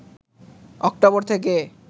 October থেকে